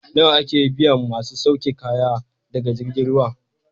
Nawa ake biyan masu sauke kaya daga jirgin ruwa?